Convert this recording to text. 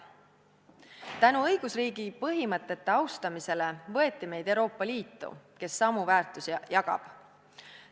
Tänu õigusriigi põhimõtete austamisele võeti meid Euroopa Liitu, kes samu väärtusi jagab.